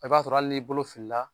I b'a sɔrɔ hali n'i bolo filila